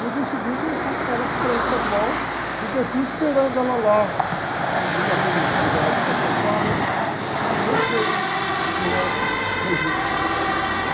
No dia seguinte, eu fui com ela para o colégio estadual e o esperando ela lá, num daqueles lugares para sentar, e eu chego com a, né?